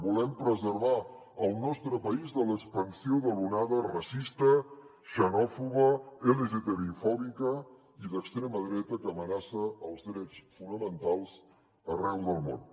volem preservar el nostre país de l’expansió de l’onada racista xenòfoba lgtbifòbica i d’extrema dreta que amenaça els drets fonamentals arreu del món